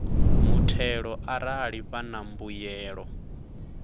muthelo arali vha na mbuyelo